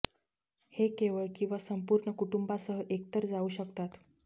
हे केवळ किंवा संपूर्ण कुटुंबासह एकतर जाऊ शकतात